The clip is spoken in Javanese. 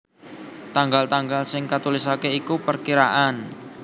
Tanggal tanggal sing katulisaké iku perkiraan